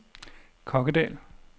Kokkedal